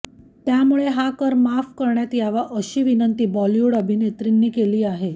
त्यामुळे हा कर माफ करण्यात यावा अशी विनंती बॉलिवूड अभिनेत्रींनी केली आहे